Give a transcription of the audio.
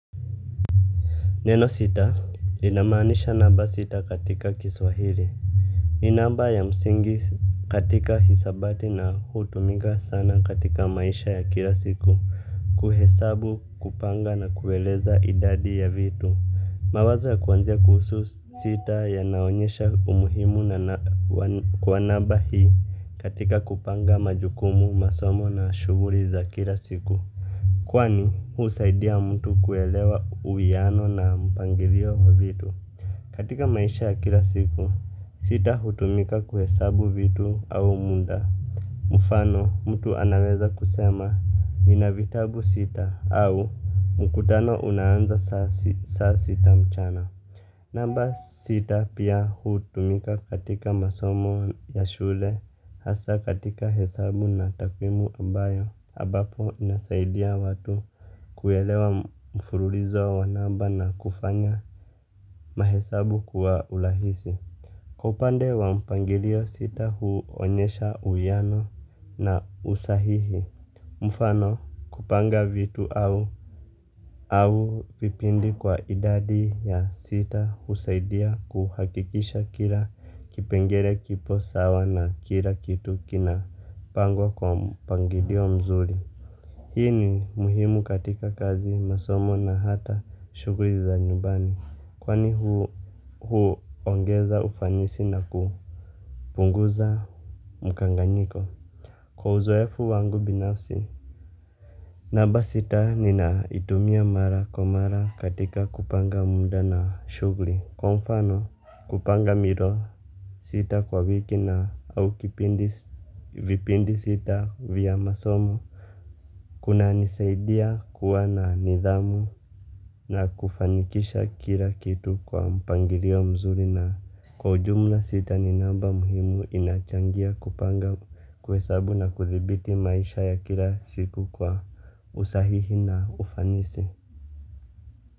Neno sita linamanisha naba sita katika kiswahiri. Ni naba ya msingi katika hisabati na hutumiga sana katika maisha ya kila siku. Kuhesabu kupanga na kueleza idadi ya vitu. Mawazo ya kuwanzia kuhusu sita yanaonyesha umuhimu kwa naba hii katika kupanga majukumu masomo na shuguri za kila siku. Kwani huusaidia mtu kuelewa uwiano na mpangirio wa vitu. Katika maisha ya kila siku sita hutumika kuhesabu vitu au munda. Mufano mtu anaweza kusema nina vitabu sita au mkutano unaanza sasita mchana. Namba sita pia hutumika katika masomo ya shule hasa katika hesabu na takwimu ambayo habapo unasaidia watu kuelewa mfurulizo wa namba na kufanya mahesabu kuwa ulahisi. Kwa upande wa mpangirio sita huonyesha uiano na usahihi. Mfano kupanga vitu au vipindi kwa idadi ya sita husaidia kuhakikisha kila kipengere kipo sawa na kila kitu kinapangwa kwa mpangirio mzuri. Hii ni muhimu katika kazi masomo na hata shugli za nyubani. Kwani huuongeza ufanisi na kupunguza mukanganyiko. Kwa uzoefu wangu binafsi namba sita nina itumia mara kwa mara katika kupanga muda na shughuli. Kwa mfano kupanga miro sita kwa wiki na au kipindi, vipindi sita vya masomo. Kuna nisaidiya kuwa na nidhamu na kufanikisha kila kitu kwa mpangilio mzuri na kwa ujumla sita ni namba muhimu inachangia kupanga kuhesabu na kuthibiti maisha ya kila siku kwa usahihi na ufanisi.